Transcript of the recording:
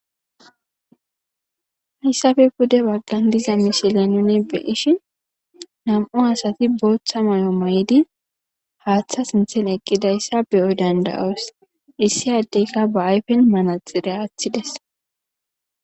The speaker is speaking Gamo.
hayssappe bude baggan diza mishila nune beishin nam7u asati boltha may7o may7idi haaththa sinthen eqqidayssa beyoy dandayoos issi addeyka ba ayfen manaxire aththides